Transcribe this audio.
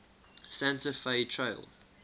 santa fe trail